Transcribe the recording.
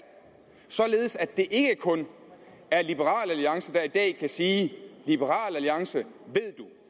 således at det ikke kun var liberal alliance der i dag kunne sige liberal alliance ved du